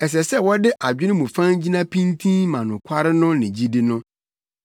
Ɛsɛ sɛ wɔde adwene mu fann gyina pintinn ma nokware no ne gyidi no.